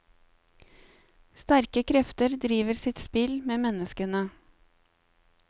Sterke krefter driver sitt spill med menneskene.